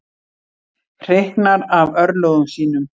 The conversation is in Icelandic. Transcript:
Hreyknar af örlögum sínum.